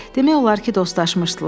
Demək olar ki, dostlaşmışdılar.